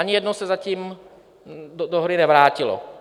Ani jedno se zatím do hry nevrátilo.